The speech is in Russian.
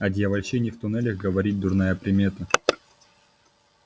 о дьявольщине в туннелях говорить дурная примета